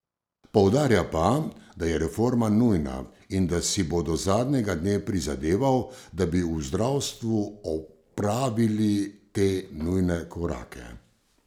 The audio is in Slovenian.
Poudarja pa, da je reforma nujna in da si bo do zadnjega dne prizadeval, da bi v zdravstvu opravili te nujne korake.